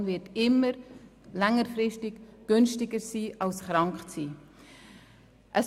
Prävention wird längerfristig immer günstiger sein als krank zu sein.